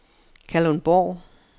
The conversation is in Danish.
Kalundborg